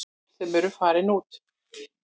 Sem eru farnir út.